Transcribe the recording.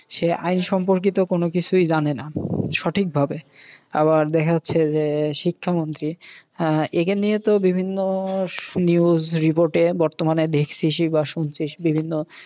সে আইন সম্পর্কিত কোনও কিছুই জানেনা সঠিক ভাবে। আবার দেখা যাচ্ছে যে শিক্ষা মন্ত্রী আহ একে নিয়ে তো বিভিন্ন news report এ বর্তমানে মানে দেখছিসই বা শুনছিস বিভিন্ন